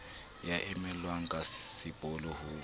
ya emellwang ka sepolo ho